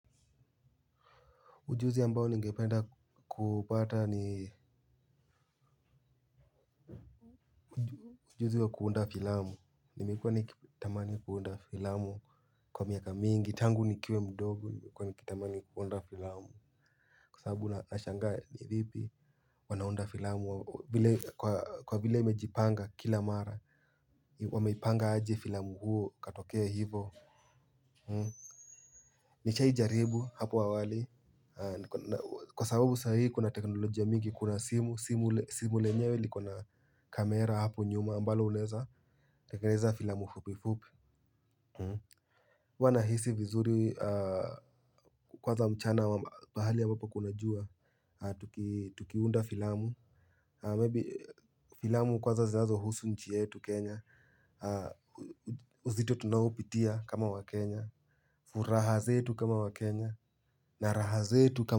Ujuzi ambao ningependa kupata ni ujuzi wa kuunda filamu, nimekuwa nikitamani kuunda filamu kwa miaka mingi, tangu nikiwe mdogo nikitamani kuunda filamu. Kwa sababu nashangaa ni vipi wanaunda filamu kwa vile imejipanga kila mara, wameipanga aje filamu huo katokea hivo. Nishai jaribu hapo awali. Kwa sababu sahihi kuna teknolojia mingi kuna simu. Simu lenyewe liko na kamera hapo nyuma ambalo unaeza, tengeneza filamu fupi fupi huwa nahisi vizuri kwanza mchana wa pahali ambapo kuna jua. Tukiunda filamu Maybe filamu kwanza zinazohusu nchi yetu Kenya. Uzito tunaoupitia kama waKenya. Furaha zetu kama waKenya. Na raha zetu kama.